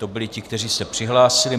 To byli ti, kteří se přihlásili.